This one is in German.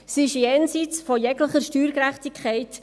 Sie ist jenseits jeglicher Steuergerechtigkeit.